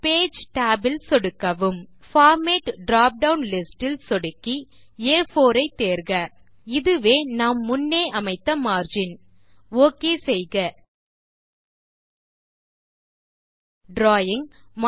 page tab இல் சொடுக்கவும் format drop down list இல் சொடுக்கி ஆ4 ஐ தேர்க இதுவே நாம் முன்னே அமைத்த மார்ஜின் ஒக் செய்க டிராவிங்